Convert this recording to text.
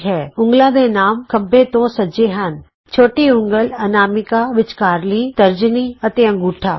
ਉਂਗਲਾਂ ਦੇ ਨਾਮ ਖੱਬੇ ਤੋਂ ਸੱਜੇ ਹਨ ਛੋਟੀ ਉਂਗਲ ਅਨਾਮਿਕਾ ਵਿਚਕਾਰਲੀ ਉਂਗਲ ਤਰਜਨੀ ਅਤੇ ਅੰਗੂਠਾ